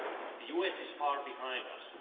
The US is far behind us.